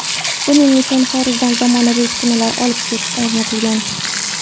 Buning uchun xorijdan zamonaviy uskunalar olib kelib o‘rnatilgan.